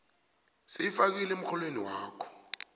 seyifakiwe emrholweni wakho